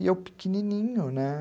E eu pequenininho, né?